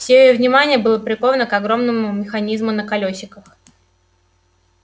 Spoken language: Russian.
все её внимание было приковано к огромному механизму на колёсиках